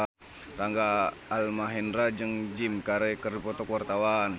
Rangga Almahendra jeung Jim Carey keur dipoto ku wartawan